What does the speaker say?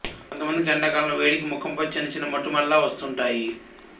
కొంతమందికి ఎండాకాలంలో వేడికి ముఖంపై చిన్న చిన్న మొటిమల్లా వస్తుంటాయి